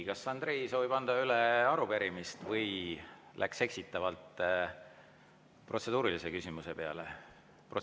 Kas Andrei soovib anda üle arupärimist läks eksitavalt protseduurilise küsimuse peale?